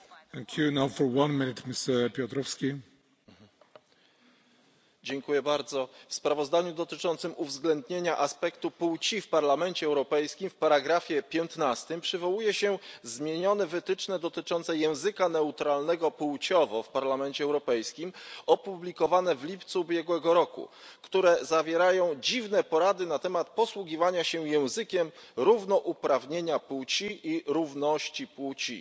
Panie Przewodniczący! W sprawozdaniu dotyczącym uwzględnienia aspektu płci w Parlamencie Europejskim w ust. 15 przywołuje się zmienione wytyczne dotyczące języka neutralnego płciowo w Parlamencie Europejskim opublikowane w lipcu ubiegłego roku, które zawierają dziwne porady na temat posługiwania się językiem równouprawnienia płci i równości płci.